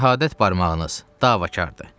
Şəhadət barmağınız davakardır.